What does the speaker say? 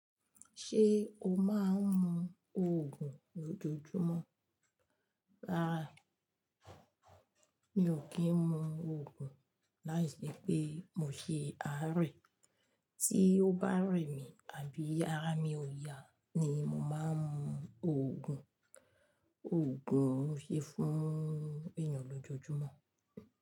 Ṣé o máa ń mu òogùn lójoojúmọ́? Rárá, mi ò kí ń mu òogùn láì je pé mo ṣe á rẹ̀. Tí ó bá rẹ̀ mí àbí ara mi ò yá ni mo máa ń mu òogùn. Ògùn ń ṣe fún èèyàn lójoojúmọ́.